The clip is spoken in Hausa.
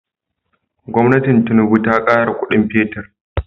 Gwamnatin tinuba ta kara Ƙudin fetir